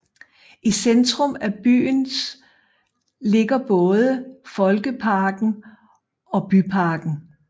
I centrum af byens ligger både Folkeparken og Byparken